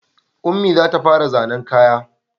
Ummi za ta fara zannen kaya